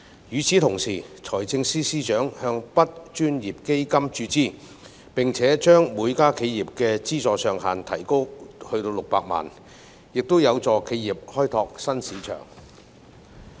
與此同時，財政司司長向 BUD 專項基金注資，並且將每家企業的資助上限提高至600萬元，亦有助企業開拓新市場。